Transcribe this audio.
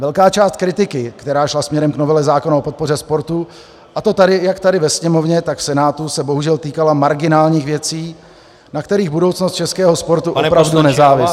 Velká část kritiky, která šla směrem k novele zákona o podpoře sportu, a to jak tady ve Sněmovně, tak v Senátu, se bohužel týkala marginálních věcí, na kterých budoucnost českého sportu opravdu nezávisí.